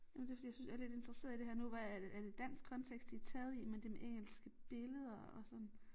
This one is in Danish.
Jamen det fordi jeg synes er lidt interesseret i det her nu var er det dansk kontekst de taget i men det med engelske billeder og sådan